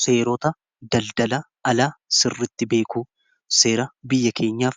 seerota daldala alaa sirritti beeku seera biyya keenyaaf